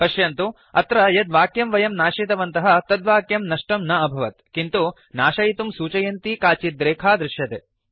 पश्यन्तु अत्र यत् वाक्यं वयं नाशितवन्तः तत् वाक्यं नष्टं न अभवत् किन्तु नाशयितुं सूचयन्ती काचित् रेखा दृश्यते